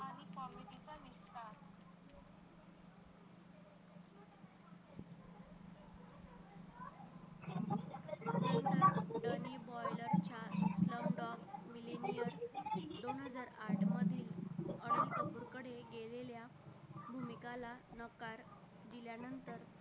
च्या slumdog millionaire दोन हजार आठ मध्ये कडे गेलेल्या भूमी काला नकार दिल्यानंतर